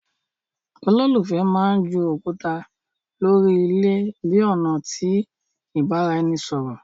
Ololufẹ mán jù òkúta lórí ilé bi ọna ti ibaraẹnisọrọ